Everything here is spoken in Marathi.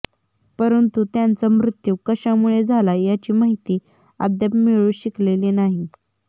परंतु त्यांचा मृत्यू कशामुळे झाला याची माहिती अद्याप मिळू शकलेली नाही